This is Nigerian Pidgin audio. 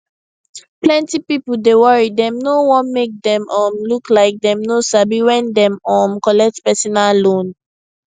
plenty people dey worry dem no wan make dem um look like dem no sabi when dem um collect personal loan